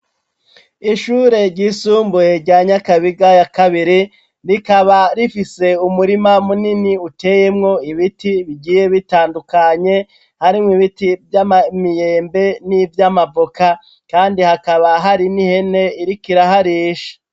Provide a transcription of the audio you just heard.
Ishure ryisumbuye rya nyakabiga ya kabiri rikaba rifise umurima munini uteyemwo ibiti bigiye bitandukanye harimwo ibiti vy'amamiyembe n'ivyo amavoka, kandi hakaba hari n’ihene irikira harisha.